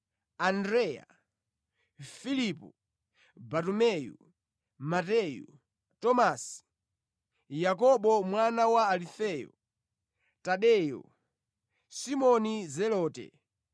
Andreya, Filipo, Bartumeyu, Mateyu, Tomasi, Yakobo mwana wa Alufeyo, Tadeyo, Simoni Zelote,